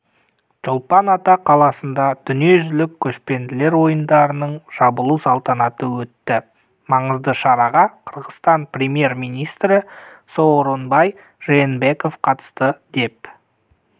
чолпан-ата қаласында дүниежүзілік көшпенділер ойындарының жабылу салтанаты өтті маңызды шараға қырғызстан премьер-министрі сооронбай жээнбеков қатысты деп